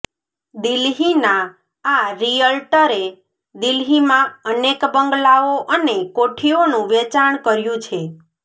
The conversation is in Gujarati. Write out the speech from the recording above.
દિલ્હીના આ રિયલ્ટરે દિલ્હીમાં અનેક બંગલાઓ અને કોઠીઓનું વેચાણ કર્યું છે